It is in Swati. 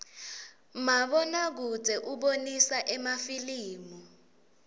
mabona kudze ubonisa emafilimu